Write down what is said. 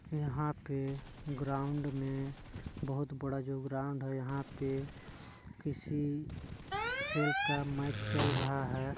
यहाँ पे ग्राउंड में बोहोत बड़ा जो ग्राउंड है यहाँ पे किसी खेल का मैच चल रहा है।